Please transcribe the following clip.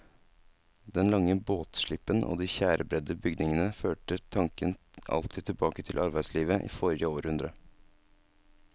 Den lange båtslippen og de tjærebredde bygningene førte tanken alltid tilbake til arbeidslivet i forrige århundre.